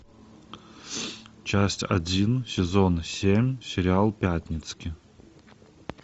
часть один сезон семь сериал пятницкий